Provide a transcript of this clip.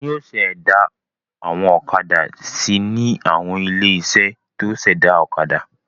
Wọn yóò ṣẹ̀dá àwọn ọ̀kadà si ní àwọn ilé-iṣẹ́ tó ṣẹ̀dá ọ̀kadà.